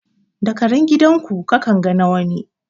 Da karen gidan ku ka kan ga na wani.